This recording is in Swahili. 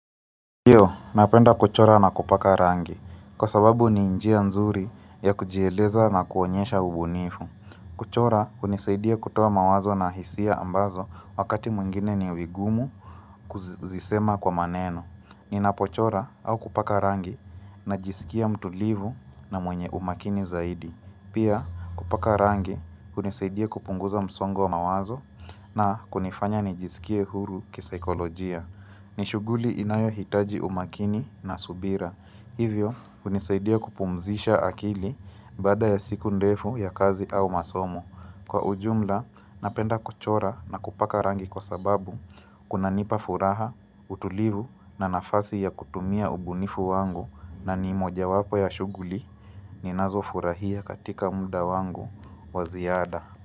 Napenda kuchora na kupaka rangi, kwa sababu ni njia nzuri ya kujieleza na kuonyesha ubunifu. Kuchora hunisaidia kutoa mawazo na hisia ambazo wakati mwingine ni vigumu kuzisema kwa maneno. Ninapochora au kupaka rangi na jiskia mtu livu na mwenye umakini zaidi. Pia kupaka rangi hunisaidia kupunguza msongo wa mawazo na kunifanya nijiskie huru kisaikolojia. Ni shuguli inayo hitaji umakini na subira, hivyo hunisaidia kupumzisha akili baada ya siku ndefu ya kazi au masomo. Kwa ujumla, napenda kuchora na kupaka rangi kwa sababu, kuna nipa furaha, utulivu na nafasi ya kutumia ubunifu wangu na ni moja wapo ya shughuli ninazo furahia katika mda wangu waziada.